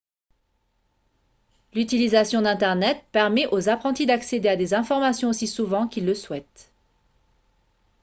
l'utilisation d'internet permet aux apprentis d'accéder à des informations aussi souvent qu'ils le souhaitent